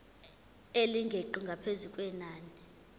elingeqi ngaphezu kwenani